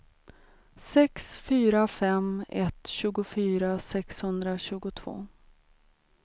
sex fyra fem ett tjugofyra sexhundratjugotvå